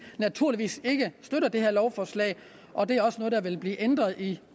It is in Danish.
naturligvis ikke støtter det her lovforslag og det er også noget der vil blive ændret i